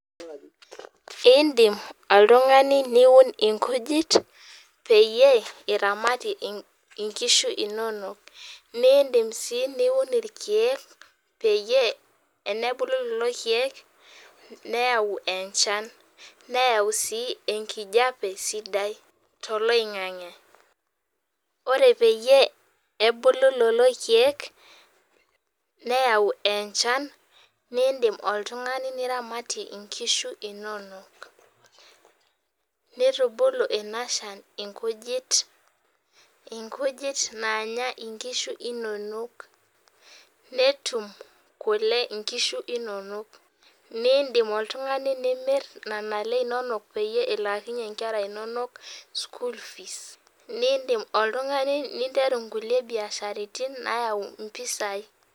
Idim oltung'ani niun inkujit peyie eramatie enkishu inonok naa idim sii niun ilkeek peyie tenebulu lelo keek neyau enchan neyau sii enkijape sidai tolo8ng'ang'e ore peyie ebulu lelo keepk neyau enchan naa idim oltung'ani niramatie inkishu inonok neitubulu inashan ikujit naanya inkishu inonok netum kule inkishu inonok naa idim oltung'ani nimir nena kule inonok peeyie ilaakinyie inkere inonok school fees naa idim oltung'ani niteru nkuliek biashara naayau mpesai